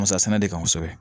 Musa sɛnɛ de kan kosɛbɛ